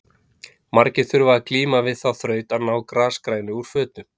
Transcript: margir þurfa að glíma við þá þraut að ná grasgrænu úr fötum